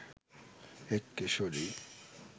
এক কিশোরী